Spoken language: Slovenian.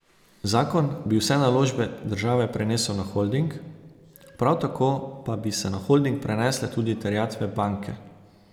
Zakon bi vse naložbe države prenesel na holding, prav tako pa bi se na holding prenesle tudi terjatve banke.